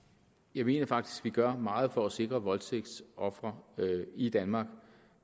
jeg mener faktisk at vi gør meget for at sikre voldtægtsofre i danmark